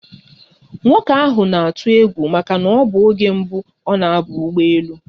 Nwoke ahụ na-atụ egwu maka na ọbụ oge mbụ ọ na aba ụgbọ elu